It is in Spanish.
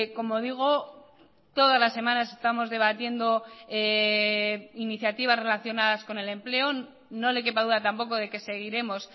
como digo todas las semanas estamos debatiendo iniciativas relacionadas con el empleo no le quepa duda tampoco de que seguiremos